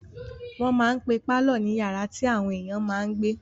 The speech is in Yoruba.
Wọ́n máa n pe pálọ̀ ní yàrá tí àwọn èèyàn máa n gbé